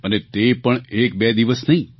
અને તે પણ એક બે દિવસ નહીં